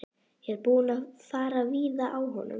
Ég er búinn að fara víða á honum.